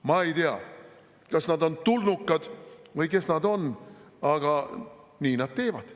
" Ma ei tea, kas nad on tulnukad või kes nad on, aga nii nad teevad.